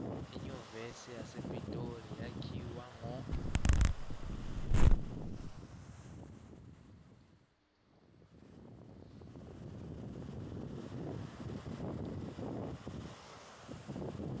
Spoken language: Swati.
inyuvesi yasepitoli yakhiwa ngo